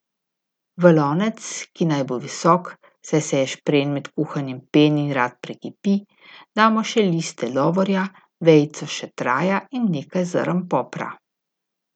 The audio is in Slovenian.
V lonec, ki naj bo visok, saj se ješprenj med kuhanjem peni in rad prekipi, damo še liste lovorja, vejico šetraja in nekaj zrn popra.